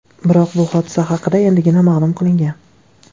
Biroq bu hodisa haqida endigina ma’lum qilingan.